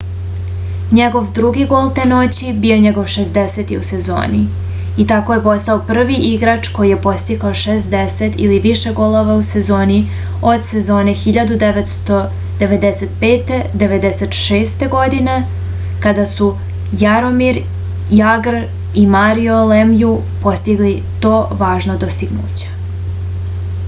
njegov drugi gol te noći bio je njegov 60. u sezoni i tako je postao prvi igrač koji je postigao 60 ili više golova u sezoni od sezone 1995-96. godine kada su jaromir jagr i mario lemju postigli to važno dostignuće